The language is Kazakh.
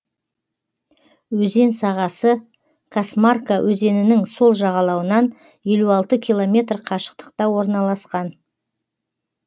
өзен сағасы касмарка өзенінің сол жағалауынан елу алты километр қашықтықта орналасқан